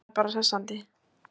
Það er bara hressandi.